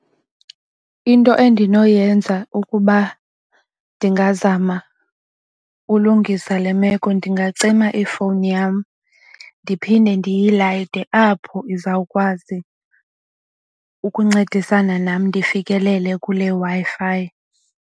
Into endinoyenza ukuba ndingazama ulungisa le meko ndingacima ifowuni yam ndiphinde ndiyilayite apho izawukwazi ukuncedisana nam ndifikelele kule Wi-Fi.